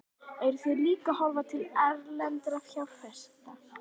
Heimir Már: Eruð þið að horfa líka til erlendra fjárfesta?